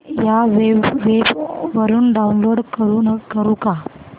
या वेब वरुन डाऊनलोड करू का